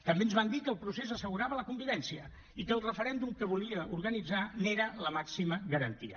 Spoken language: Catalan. també ens van dir que el procés assegurava la convivència i que el referèndum que volia organitzar n’era la màxima garantia